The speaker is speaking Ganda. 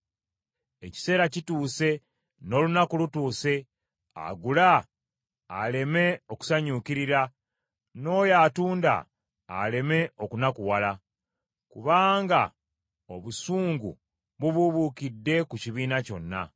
Ekiseera kituuse, n’olunaku lutuuse. Agula aleme okusanyukirira, n’oyo atunda aleme okunakuwala, kubanga obusungu bubuubuukidde ku kibiina kyonna.